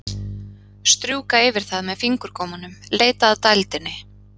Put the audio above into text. Strjúka yfir það með fingurgómunum, leita að dældinni.